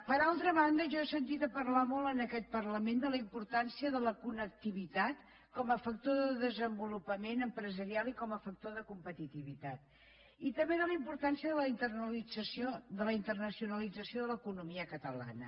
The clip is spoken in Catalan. per altra banda jo he sentit a parlar molt en aquest parlament de la importància de la connectivitat com a factor de desenvolupament empresarial i com a factor de competitivitat i també de la importància de la internacionalització de l’economia catalana